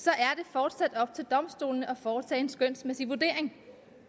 fortsat op til domstolene at foretage en skønsmæssig vurdering